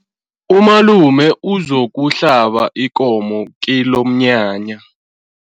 Umalume uzokuhlaba ikomo kilomnyanya.